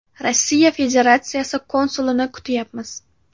Rossiya Federatsiyasi konsulini kutyapmiz.